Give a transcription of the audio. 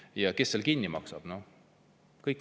Ja kes selle kinni maksab?